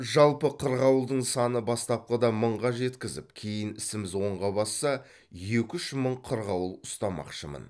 жалпы қырғауылдың саны бастапқыда мыңға жеткізіп кейін ісіміз оңға басса екі үш мың қырғауыл ұстамақшымын